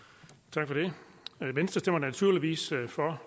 tak for det venstre stemmer naturligvis